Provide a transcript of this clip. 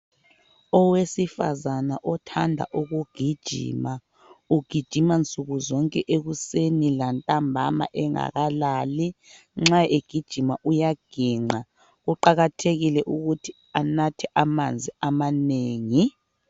Owesifazane othanda ukugijima ugijima nsuku zonke ekuseni lantambama engakalali. Nxa egijima uyaginqa kuqakathekile ukuthi anathe amanzi amanengi.